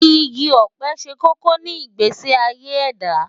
Igi ọ̀pẹ ṣe kókó ní ìgbésí ayé ẹ̀dá.